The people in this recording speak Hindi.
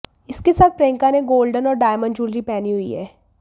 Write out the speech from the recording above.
इसके साथ प्रियंका ने गोल्डन और डायमंड ज्वेलरी पहनी हुई है